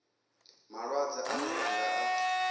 malwadze ane ra nga a